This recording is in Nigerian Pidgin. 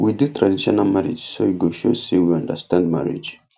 we do traditional marriage so e go show say we understand marriage